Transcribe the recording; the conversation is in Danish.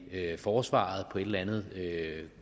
forsvaret på et eller andet